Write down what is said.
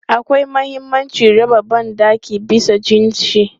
Akwai mahimmancin raba ban ɗaki bisa jinsi.